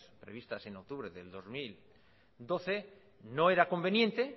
previstas en octubre del dos mil doce no era conveniente